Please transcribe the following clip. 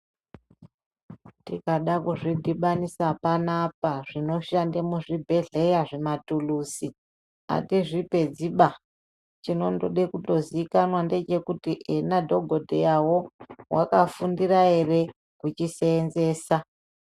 Tikada kuzvidhibanisa panapa zvinoshande muzvibhedhleya zvimatuluzi atizvipedziba. Chinondode kundozikanwa ndechekuti ena dhogodheyawo, wakafundira ere kuchiseenzesa.